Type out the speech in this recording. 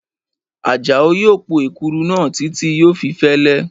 Àjàó yóò po èkuru náà títí yóò fi fẹ́lẹ́